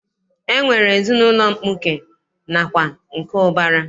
E nwere ezinaụlọ mkpuke nakwa nke ụbara.